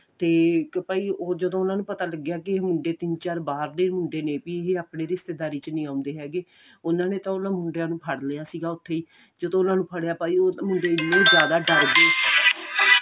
ਤੇ ਭਾਈ ਜਦੋਂ ਉਹਨਾ ਨੂੰ ਪਤਾ ਲੱਗਿਆ ਕਿ ਮੁੰਡੇ ਤਿੰਨ ਚਾਰ ਬਾਹਰ ਦੇ ਮੁੰਡੇ ਨੇ ਵੀ ਇਹ ਆਪਣੀ ਰਿਸ਼ਤੇਦਾਰੀ ਵਿੱਚ ਨਹੀਂ ਆਉਂਦੇ ਹੈਗੇ ਉਹਨਾ ਨੇ ਤਾਂ ਉਹਨਾ ਮੁੰਡਿਆਂ ਨੂੰ ਫੜ ਲਿਆ ਸੀਗਾ ਉੱਥੀ ਜਦੋਂ ਉਹਨਾ ਨੂੰ ਫੜਿਆ ਭਾਈ ਉਹ ਤਾਂ ਮੁੰਡੇ ਡਰ ਗਏ